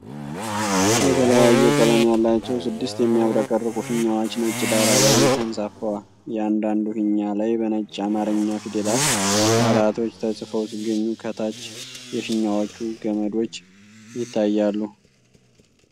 የተለያየ ቀለም ያላቸው ስድስት የሚያብረቀርቁ ፊኛዎች ነጭ ዳራ ላይ ተንሳፈዋል። እያንዳንዱ ፊኛ ላይ በነጭ የአማርኛ ፊደላት ቃላቶች ተጽፈው ሲገኙ ከታች የፊኛዎቹ ገመዶች ይታያሉ።